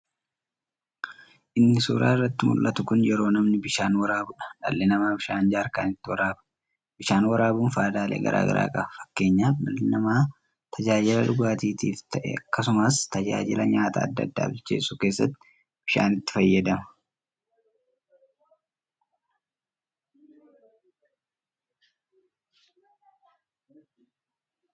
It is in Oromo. Inni suuraa irratti muldhatu kun yeroo namni bishaan woraabuudha. Dhalli namaa bishaan jaarkanitti woraaba. Bishaan waraabuun faayidaalee garaa garaa qaba. Fakkeenyaaf dhalli namaa tajaajila dhugaatiitiif ta'ee akkasumas tajaajila nyaata addaa addaa bilcheessuu keessatti bishaanitti fayyadama.